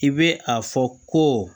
I bɛ a fɔ ko